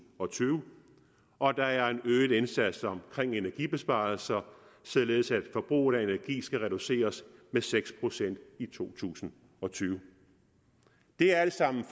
og tyve og der er en øget indsats omkring energibesparelser således at forbruget af energi skal være reduceret med seks procent i to tusind og tyve det er alt sammen